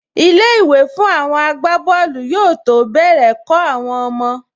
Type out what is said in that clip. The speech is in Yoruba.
Ilé-ìwé fún àwọn agbábọ́ọ̀lù yóò tó bẹ̀rẹ̀ kọ́ àwọn ọmọ